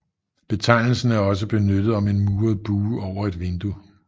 Betegnelsen er også benyttet om en muret bue over et vindue